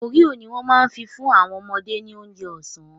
Oreo ni wọ́n ma fi fún àwọn ọmọdé ní oúnjẹ ọ̀sán